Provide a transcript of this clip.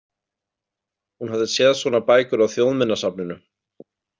Hún hafði séð svona bækur á Þjóðminjasafninu.